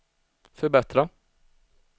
förbättra